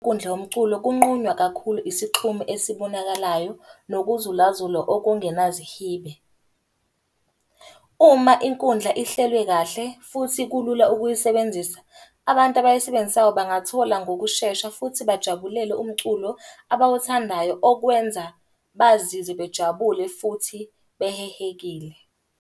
Nkundla yomculo kunqunywa kakhulu isixhumo esibonakalayo, nokuzulazula okungenazihibe. Uma inkundla ihlelwe kahle, futhi kulula ukuyisebenzisa, abantu abayisebenzisayo bangathola ngokushesha futhi bajabulele umculo abawuthandayo okwenza bazizwe bejabule futhi behehekile.